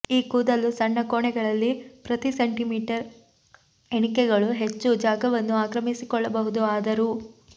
ಈ ಕೂದಲು ಸಣ್ಣ ಕೋಣೆಗಳಲ್ಲಿ ಪ್ರತಿ ಸೆಂಟಿಮೀಟರ್ ಎಣಿಕೆಗಳು ಹೆಚ್ಚು ಜಾಗವನ್ನು ಆಕ್ರಮಿಸಕೊಳ್ಳಬಹುದು ಆದರೂ